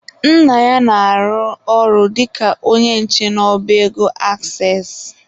Nna ya na-arụ ọrụ dịka onye nche n'ọba ego Aksess.